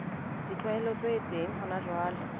ditlwaelo tse teng hona jwale